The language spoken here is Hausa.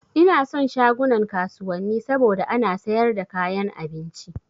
Ina son shagunan kasuwanni saboda ana sayar da kayan abinci